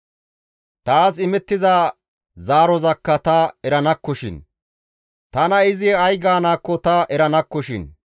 Taas imettiza zaarozakka ta eranakkoshin; tana izi ay gaanaakko ta eranakkoshin.